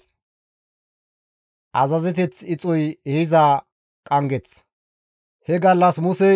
He gallas Musey Isra7eele deraa hizgi azazides,